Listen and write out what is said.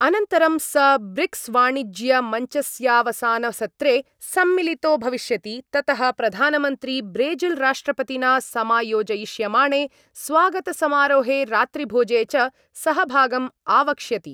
अनन्तरं स ब्रिक्स्वाणिज्यमञ्चस्यावसानसत्रे सम्मिलितो भविष्यति, ततः प्रधानमन्त्री ब्रेजिल्राष्ट्रपतिना समायोजयिष्यमाणे स्वागतसमारोहे रात्रिभोजे च सहभागम् आवक्ष्यति।